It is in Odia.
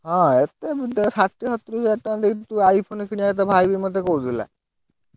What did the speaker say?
ହଁ ଏତେ ଷାଠିଏ ସତୁରୀ ହାଜ଼ାର ଟଙ୍କା ଦେଇ ତୁ iPhone କିଣିଆ କଥା, ଭାଇ ବି ମତେ କହୁଥିଲା।